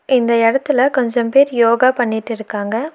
இந்த எடத்துல கொஞ்சம் பேர் யோகா பண்ணிட்டு இருக்காங்க.